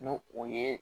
N'o o ye